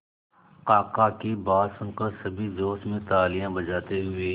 काका की बात सुनकर सभी जोश में तालियां बजाते हुए